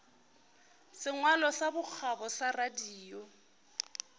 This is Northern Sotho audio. sengwalo sa bokgabo sa radio